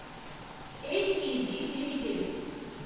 H E G limited